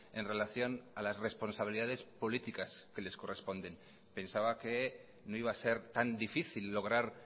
en relación a las responsabilidades políticas que les corresponden pensaba que no iba a ser tan difícil lograr